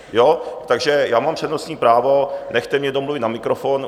Takže já mám přednostní právo, nechte mě domluvit na mikrofon.